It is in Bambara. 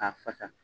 K'a fasa